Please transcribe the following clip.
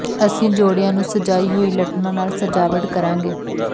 ਅਸੀਂ ਜੋਡ਼ਿਆਂ ਨੂੰ ਸਜਾਈ ਹੋਈ ਲਠਣਾਂ ਨਾਲ ਸਜਾਵਟ ਕਰਾਂਗੇ